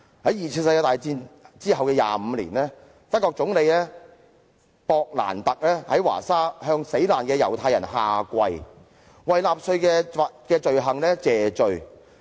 在二次世界大戰後25年，德國總理威利.勃蘭特在華沙向猶太死難者下跪，為納粹的罪行謝罪。